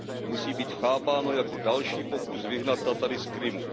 musí být chápáno jako další pokus vyhnat Tatary z Krymu.